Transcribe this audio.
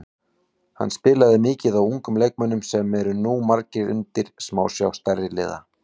Hann spilaði mikið á ungum leikmönnum sem eru nú margir undir smásjá stærri liða.